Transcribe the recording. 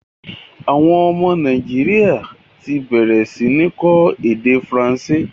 Àwọn ọmọ Nàìjíríà ti bẹ̀rẹ̀ sí ní kọ́ èdè Faransé